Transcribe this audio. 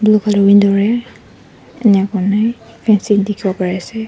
blue colour window ra enia kurina fencing dikhiwo pariase.